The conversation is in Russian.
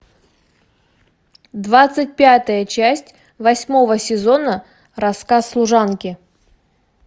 двадцать пятая часть восьмого сезона рассказ служанки